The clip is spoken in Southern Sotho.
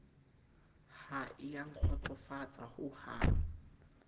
ha e a nkgotsofatsa hohang